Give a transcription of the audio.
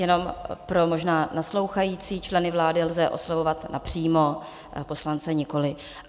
Jenom pro možná naslouchající , členy vlády lze oslovovat napřímo, poslance nikoli.